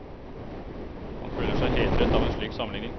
Han føler seg hedret av en slik sammenligning.